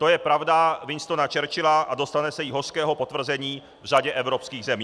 To je pravda Winstona Churchilla a dostane se jí hořkého potvrzení v řadě evropských zemí.